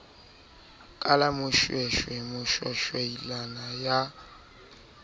ka la moshweshwe moshwashwaila ya